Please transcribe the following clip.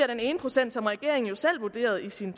den ene procent som regeringen selv vurderede i sin